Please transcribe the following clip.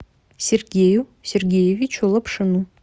сергею сергеевичу лапшину